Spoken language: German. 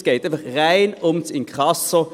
Es geht rein ums Inkasso.